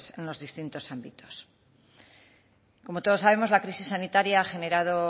en los distintos ámbitos como todos sabemos la crisis sanitaria ha generado